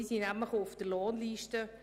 sie stehen auf meiner Lohnliste.